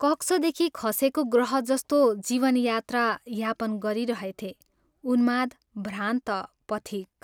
कक्षदेखि खसेको ग्रह जस्तो जीवन यात्रा यापन गरिरहेथें उन्माद भ्रान्त पथिक।